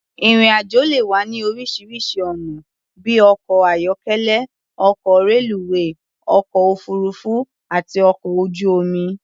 Ìrìn-àjò le wáyé ní oríṣiŕṣi ọ̀nà bí i ọkọ̀-ayọ́kélẹ́, ọkọ̀, reluwé, ọkọ̀-òfuururú àti ọkọ̀ ojú-omi.